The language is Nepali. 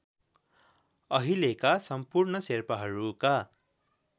अहिलेका सम्पूर्ण शेर्पाहरूका